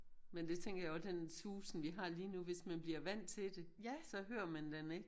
Men det tænker jeg også den susen vi har lige nu hvis man bliver vandt til det så hører man den ikke